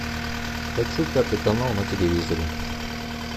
хочу пятый канал на телевизоре